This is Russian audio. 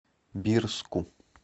бирску